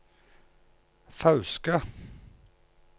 Fauske